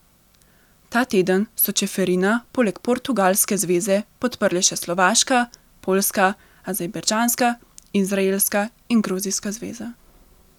Ta teden so Čeferina poleg portugalske zveze podprle še slovaška, poljska, azerbajdžanska, izraelska in gruzijska zveza.